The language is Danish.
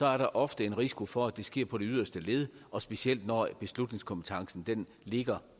er der ofte en risiko for at det sker på det yderste led og specielt når beslutningskompetencen ligger